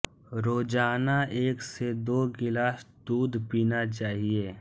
रोजाना एक से दो गिलास दूध पीना चाहिए